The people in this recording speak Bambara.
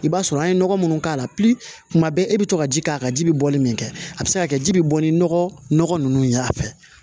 I b'a sɔrɔ an ye nɔgɔ munnu k'a la tuma bɛɛ e be to ka ji k'a kan ji bi bɔli min kɛ a bi se ka kɛ ji bi bɔ ni nɔgɔ nunnu ye a fɛ